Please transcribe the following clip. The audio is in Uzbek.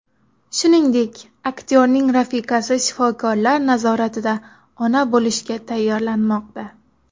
Shuningdek, aktyorning rafiqasi shifokorlar nazoratida ona bo‘lishga tayyorlanmoqda.